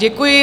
Děkuji.